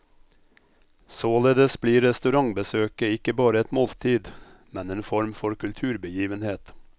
Således blir restaurantbesøket ikke bare et måltid, men en form for kulturbegivenhet.